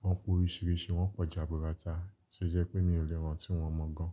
Wọ́n pé oríṣìíríṣìí, wọ́n pọ̀ jaburata tí ó jẹ́ pé mi ò lè rántí wọn mọ̀ gan.